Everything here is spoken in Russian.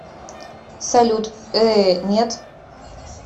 салют э нет